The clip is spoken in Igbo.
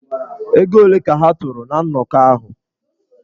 Ego ole ka ha tụrụ ná nnọkọ ahụ?